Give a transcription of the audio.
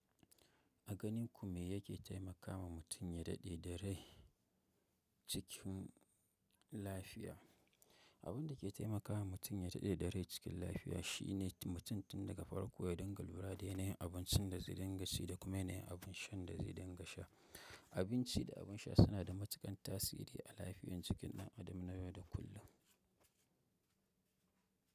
A ganin ku me yake taimakawa mutum ya daɗe da rai cikin lafiya? Abin da ke taimakawa mutum ya daɗe da rai cikin lafiya shine mutum tun daga farko ya dinga lura da yanayin abincin da zai dinga ci da kuma yanayin abin sha da zai dinga sha. Abinci da abinsha suna da matukan tasiri a lafiyan jikin dan adam na yau da kullum.